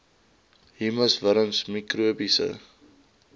humus wurms mikrobiese